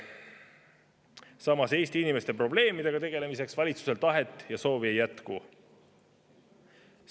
Samas, Eesti inimeste probleemidega tegelemiseks valitsusel tahet ja soovi ei jätku.